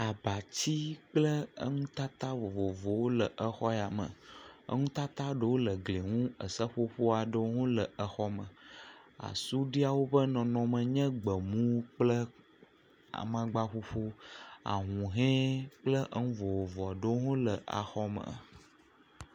Abati kple enutata vovovowo le exɔ ya me. Nutata ɖewo le egliɛ ŋu. Seƒoƒo aɖewo hã le xɔa me. Asuɖiawo ƒe nɔnɔme ɖewo nye gbemu kple amaŋgbaƒuƒu. Ahũhɔe kple enu vovovowo hã le axɔme.